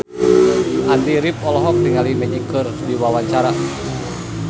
Andy rif olohok ningali Magic keur diwawancara